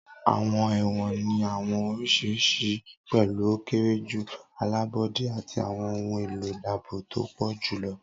Awọn ẹwọn ni awọn oriṣi oriṣiriṣi, pẹlu o kere ju, alabọde, ati awọn ohun elo aabo to pọ julọ.